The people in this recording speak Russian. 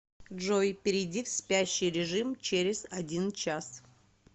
джой перейди в спящий режим через один час